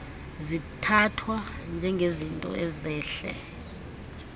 zithathwa njengezinto ezehle